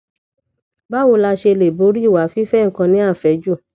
báwo la ṣe lè borí ìwà fife nkan ni afeju